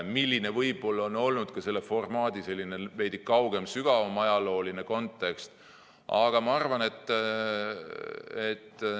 Selline on võib-olla olnud ka selle formaadi veidi kaugem, sügavam ajalooline kontekst.